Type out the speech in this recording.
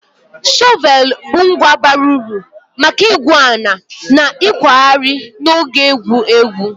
Shọvel bụ ngwa bara uru maka igwu ala na ịkwagharị na oge egwu egwu